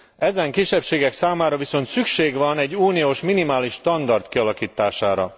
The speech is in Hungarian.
Ezen kisebbségek számára viszont szükség van egy uniós minimális standard kialakítására.